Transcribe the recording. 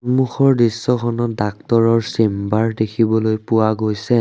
সন্মুখৰ দৃশ্যখনত ডাক্তৰৰ চেম্বাৰ দেখিবলৈ পোৱা গৈছে।